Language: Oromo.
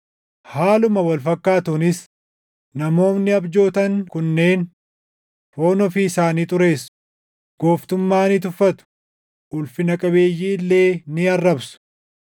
Haaluma wal fakkaatuunis namoonni abjootan kunneen foon ofii isaanii xureessu; gooftummaa ni tuffatu; ulfina qabeeyyii illee ni arrabsu.